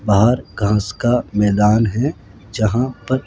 बाहर घास का मैदान है जहां प--